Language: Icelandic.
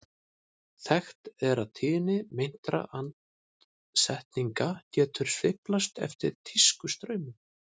Þekkt er að tíðni meintra andsetninga getur sveiflast eftir tískustraumum.